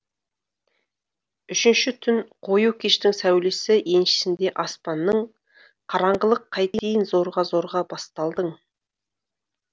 үшінші түн қою кештің сәулесі еншісінде аспанның қараңғылық қайтейін зорға зорға басталдың